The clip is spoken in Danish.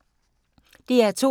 DR2